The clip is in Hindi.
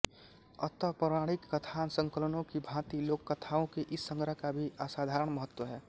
अत पौराणिक कथासंकलनों की भाँति लोककथाओं के इस संग्रह का भी असाधारण महत्व है